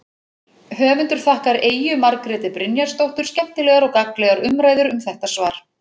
Höfundur þakkar Eyju Margréti Brynjarsdóttur skemmtilegar og gagnlegar umræður um þetta svar.